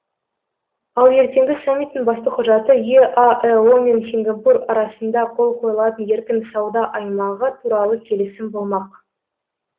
ал ертеңгі саммиттің басты құжаты еаэо мен сингапур арасында қол қойылатын еркін сауда аймағы туралы келісім болмақ